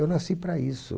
Eu nasci para isso.